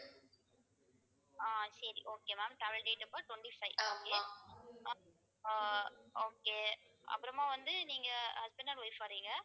ஆஹ் சரி okay ma'am travel date அப்போ twenty-fiveokay ஆஹ் ஆஹ் okay அப்புறமா வந்து நீங்க husband and wife வர்றீங்க